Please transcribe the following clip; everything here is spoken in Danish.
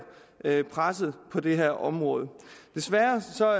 mere presset på det her område desværre